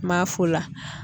N m'a f'o la.